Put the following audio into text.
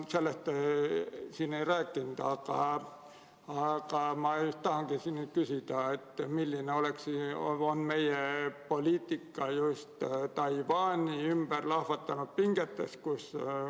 Sellest te siin ei rääkinud, aga ma tahan küsida, milline on meie poliitika selles, mis puudutab Taiwani ümber lahvatanud pingeid.